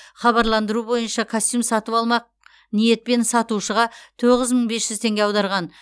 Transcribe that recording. хабарландыру бойынша костюм сатып алмақ ниетпен сатушыға тоғыз мың бес жүз теңге аударған